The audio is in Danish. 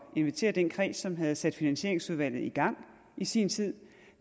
invitere den kreds som havde sat finansieringsudvalget i gang i sin tid